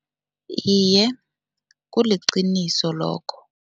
Iye, kuliqiniso lokho.